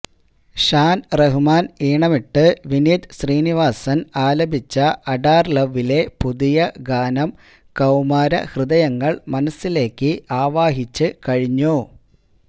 ഷാന് റഹ്മാന് ഈണമിട്ട് വിനീത് ശ്രീനിവാസന് ആലപിച്ച അഡാര് ലവിലെ പുതിയ ഗാനം കൌമാര ഹൃദയങ്ങള് മനസ്സിലേക്ക് ആവാഹിച്ച് കഴിഞ്ഞു